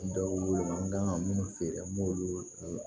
dɔw wele n kan ka minnu feere an b'olu